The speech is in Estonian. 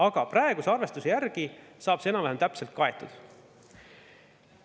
Aga praeguse arvestuse järgi saab see enam-vähem täpselt kaetud.